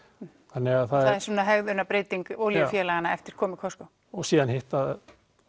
þannig það er svona olíufélaganna eftir komu Costco og síðan hitt að